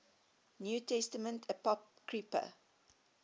new testament apocrypha